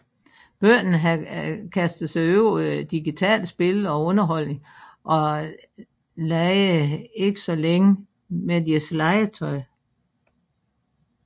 Børnene havde kastet sig over digitale spil og underholdning og legede ikke så længe med deres legetøj